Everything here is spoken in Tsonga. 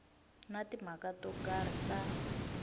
na timhaka to karhi ta